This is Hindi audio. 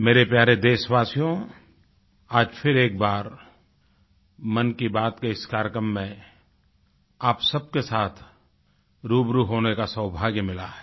मेरे प्यारे देशवासियो आज फिर एक बार मन की बात के इस कार्यक्रम में आप सबके साथ रूबरू होने का सौभाग्य मिला है